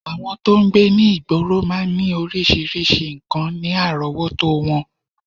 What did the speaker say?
Àwọn tó ń gbé ní ìgboro máa ń ní oríṣiríṣi nǹkan ní àrọ́wọ́tó wọn